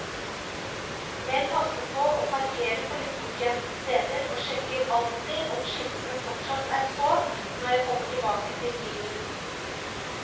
Jeg passer på å parkere på litt bortgjemte steder og sjekker alltid om skiltene fortsatt er på når jeg kommer tilbake til bilen.